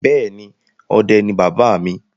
Bẹ́ẹ̀ ni, ọdẹ ni bàbá mi.